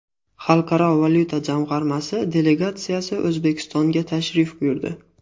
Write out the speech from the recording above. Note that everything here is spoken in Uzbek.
Xalqaro valyuta jamg‘armasi delegatsiyasi O‘zbekistonga tashrif buyurdi.